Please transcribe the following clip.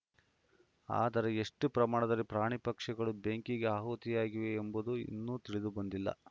ಆದರೆ ಎಷ್ಟುಪ್ರಮಾಣದಲ್ಲಿ ಪ್ರಾಣಿ ಪಕ್ಷಿಗಳು ಬೆಂಕಿಗೆ ಆಹುತಿಯಾಗಿವೆ ಎಂಬುದು ಇನ್ನೂ ತಿಳಿದುಬಂದಿಲ್ಲ